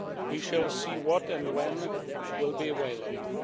We shall see what and when will be available.